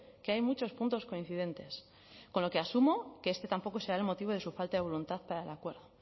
que hay muchos puntos coincidentes con lo que asumo que este tampoco será el motivo de su falta de voluntad para el acuerdo